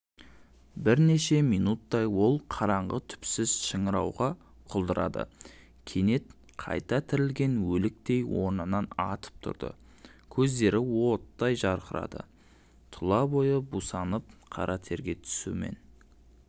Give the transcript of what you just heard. бірнеше минуттай ол қараңғы түпсіз шыңырауға құлдырады кенет қайта тірілген өліктей орнынан атып тұрды көздері оттай жарқырады тұла бойы бусанып қара терге түстімен